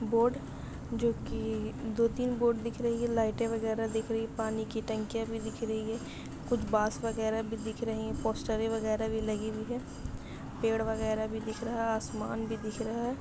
Board जो की दो-तीन बोर्ड दिख रही है लाइटे वगैरा दिख रही है। पानी की टंकीया भी दिख रही है। कुछ बॉस वगैरा भी दिख रही है। पोस्टेरे वगैरा भी लगे हुए है। पेड़ वगैरा भी देख रहा है। आसमान भी देख रहा है ।